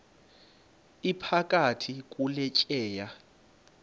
iphakathi kule tyeya